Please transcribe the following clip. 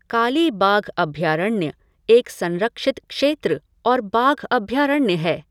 काली बाघ अभयारण्य एक संरक्षित क्षेत्र और बाघ अभयारण्य है।